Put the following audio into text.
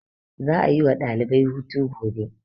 za a yi wa ɗalibai hutu gobe